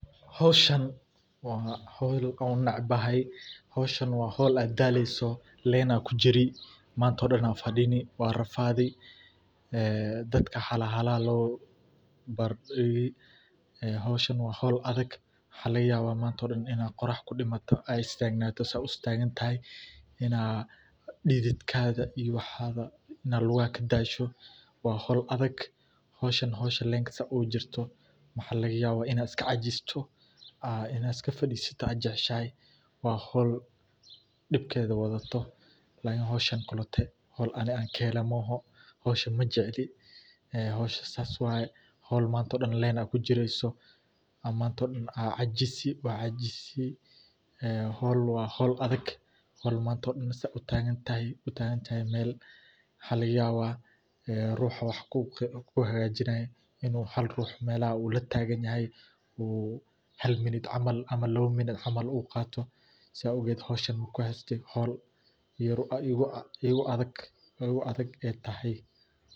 Hawsha waa hawl aan necbahay hawshan waa hawl aa daaleyso Line naa kujiri maato daana fadini wa raafadi een daadka halhala lo bardigi hawshan waa hawl adaag waxa lagaba maato daan ina qoraah udimaato aa istaagnato saa u istaagantahay ina dididkada waaxaga ina lugaaha kadaasho hawl adaag hawshan saa Line ka saa ugu jirto waxa laga yaba ina iskaacajisto ina iskaafarisato ad jeceshahay waa hawl dibkeeda wadato hawshan oo kalete hawl aan aniga kahelo maaxan hawshan majecli hawshan saas waye maato daan Line aad kujiireyso wadcajiisi maato daan utaagantahay waa hawl adaag waxa lagyaba ruuxa oo wax kuhagajiinayo hal ruux uu lataaganyahay camal lawa munites uqaatob saa ogeed hawshan hawl igu adaag